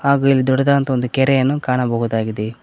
ಹಾಗೂ ಇಲ್ಲಿ ದೊಡ್ಡದಂತಹ ಒಂದು ಕೆರೆಯನ್ನು ಕಾಣಬಹುದಾಗಿದೆ.